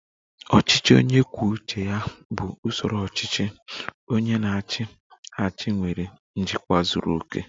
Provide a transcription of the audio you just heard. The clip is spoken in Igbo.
"Ọchịchị onye kwuo uche ya bụ usoro ọchịchị. Onye na-achị achị nwere njikwa zuru oke"